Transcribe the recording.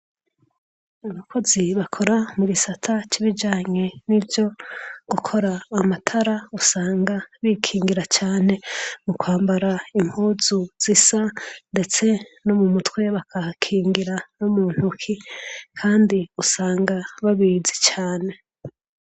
Abakoze bakora mubisata cibijanye no gukora amatara usanga bikingira cane mukwambara impuzu zisa no mumutwe bakahakingira Kandi usanga babizi cane